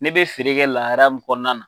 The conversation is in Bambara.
Ne bɛ feere kɛ lahara mun kɔnɔna na